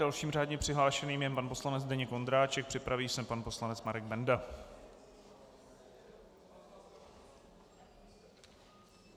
Dalším řádně přihlášeným je pan poslanec Zdeněk Ondráček, připraví se pan poslanec Marek Benda.